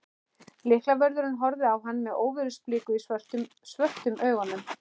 Lyklavörðurinn horfði á hann með óveðursbliku í svörtum augunum.